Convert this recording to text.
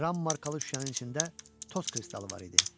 Kəram markalı şüşənin içində toz kristalı var idi.